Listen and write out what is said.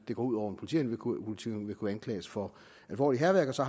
det går ud over en politihund vil kunne anklages for alvorligt hærværk og så